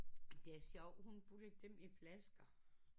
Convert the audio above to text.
Det er sjovt hun puttede dem i flasker